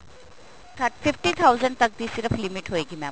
fifty thousand ਤੱਕ ਦੀ ਸਿਰਫ limit ਹੋਏਗੀ mam